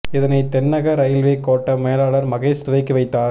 இதனை தென்னக ரயில்வே கோட்ட மேலாளர் மகேஷ் துவக்கி வைத்தார்